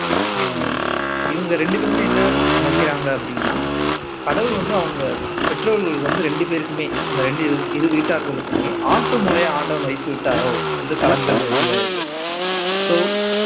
ஆஹ் இவங்க ரெண்டு பேருமே என்ன நினைக்கிறாங்க அப்படின்னா கடவுள் வந்து அவங்க பெற்றோர்கள் வந்து ரெண்டு பேருக்குமே அந்த ரெண்டு இருவீட்டார்களுக்குமே ஆட்டு மூளையை ஆண்டவன் வைத்து விட்டாரோ என்று கலங்கள் உருவாகி இருக்கு சோ